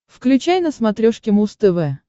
включай на смотрешке муз тв